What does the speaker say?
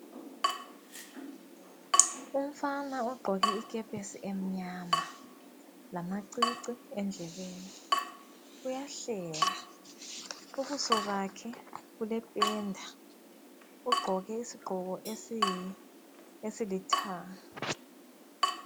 Umfana ugqoke ikepesi emnyama, lamacici endlebeni. Uyahleka, ubuso bakhe bulependa. Ugqoke isigqoko esilithanga.